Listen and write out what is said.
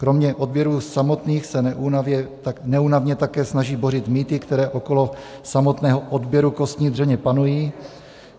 Kromě odběrů samotných se neúnavně také snaží bořit mýty, které okolo samotného odběru kostní dřeně panují.